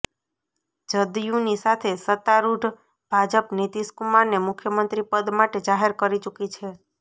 જદયૂની સાથે સત્તારૂઢ ભાજપ નીતિશ કુમારને મુખ્યમંત્રી પદ માટે જાહેર કરી ચૂકી છે